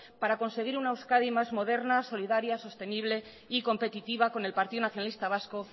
para conseguir una euskadi más moderna solidaria sostenible y competitiva con el partido nacionalista vasco